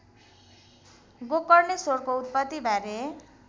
गोकर्णेश्वरको उत्पत्तिबारे